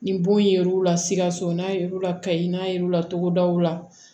Ni bon yer'u la sikaso n'a yer'u la kayi n'a yɛruw la togodaw la